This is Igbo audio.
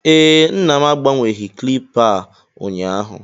ee, nna m agbanweghị kilipa a ụnyaahụ